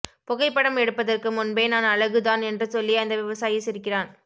புகைப்படம் எடுப்பதற்கு முன்பே நான் அழகு தான் என்று சொல்லி அந்த விவசாயி சிரிக்கிறான்